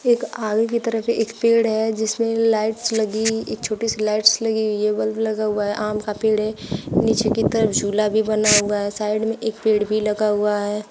एक आगे की तरफ एक पेड़ है जिसमें लाइट्स लगी एक छोटी सी लाइट्स लगी हुई है बल्ब लगा हुआ है आम का पेड़ है। नीचे की तरफ झूला भी बना हुआ है। साइड में एक पेड़ भी लगा हुआ है।